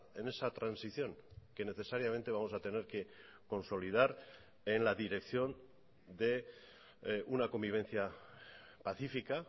en esa transición que necesariamente vamos a tener que consolidar en la dirección de una convivencia pacífica